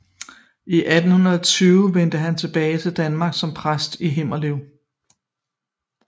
I 1820 vendte han tilbage til Danmark som præst i Himmelev